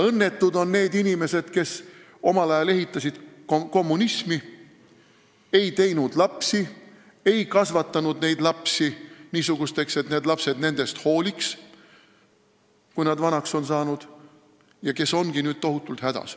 Õnnetud on need inimesed, kes omal ajal ehitasid kommunismi, ei teinud lapsi või ei kasvatanud lapsi niisuguseks, et need lapsed nendest hooliksid, kui nad vanaks on saanud, ja kes ongi nüüd tohutult hädas.